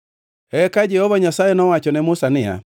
Eka Jehova Nyasaye nowacho ne Musa niya;